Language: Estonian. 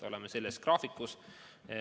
Oleme selles graafikus.